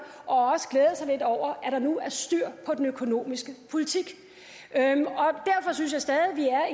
og også glæde sig lidt over at der nu er styr på den økonomiske politik jeg synes stadig vi er